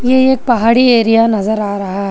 ये एक पहाड़ी एरिया नजर आ रहा--